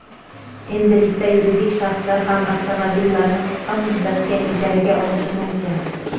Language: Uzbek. endilikda yuridik shaxslar ham avtomobillarni qisqa muddatga ijaraga olishi mumkin.